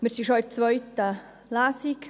Wir sind schon in der zweiten Lesung.